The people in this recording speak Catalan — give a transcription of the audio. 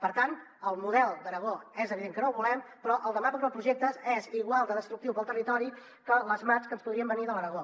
per tant el model d’aragó és evident que no el volem però el de macroprojectes és igual de destructiu pel territori que les mats que ens podrien venir de l’aragó